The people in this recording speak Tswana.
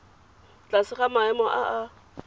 tlase ga maemo a a